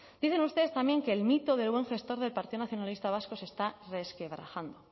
dicen ustedes también que el mito del buen gestor del partido nacionalista vasco se está resquebrajando